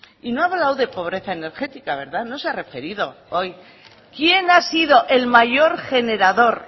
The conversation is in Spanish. y no ha hablado de pobreza energética no se ha referido hoy quién ha sido el mayor generador